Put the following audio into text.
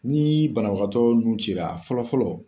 Ni banabagatɔ nun ci la a fɔlɔ fɔlɔ